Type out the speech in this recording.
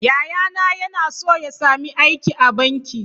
Yayana yana so ya sami aiki a banki.